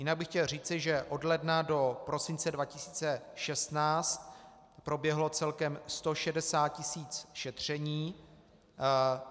Jinak bych chtěl říci, že od ledna do prosince 2016 proběhlo celkem 160 tisíc šetření.